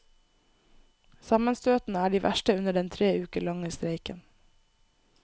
Sammenstøtene er de verste under den tre uker lange streiken.